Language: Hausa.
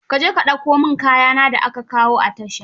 Ka je ka dauko mon kaya na da aka kawo a tasha.